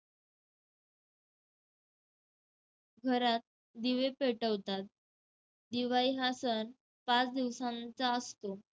घरात दिवे पेटवतात. दिवाळी हा सण पाच दिवसांचा असतो.